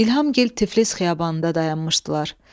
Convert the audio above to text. İlhamgil Tiflis xiyabanında dayanmışdılar.